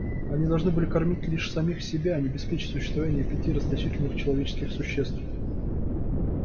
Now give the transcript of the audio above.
они должны были кормить лишь самих себя а не обеспечивать существование пяти расточительных человеческих существ